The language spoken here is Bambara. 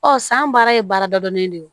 Ɔ san baara ye baara dadɔnnen de ye